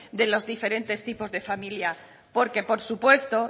de los diferentes tipos de familia porque por supuesto